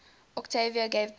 octavia gave birth